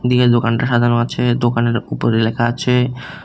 দোকানটা সাজানো আছে দোকানের উপরে লেখা আছে--